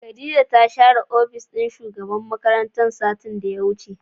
Khadijah ta share opis din shugaban makaranta satin da ya wuce.